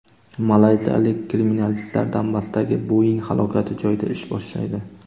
Malayziyalik kriminalistlar Donbassdagi Boeing halokati joyida ish boshlaydi.